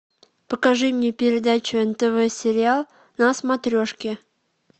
покажи мне передачу нтв сериал на смотрешке